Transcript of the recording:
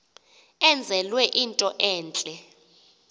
enzelwe into entle